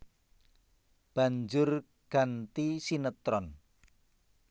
Banjur ganti sinétron